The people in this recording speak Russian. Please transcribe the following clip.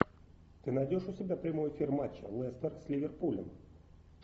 ты найдешь у себя прямой эфир матча лестер с ливерпулем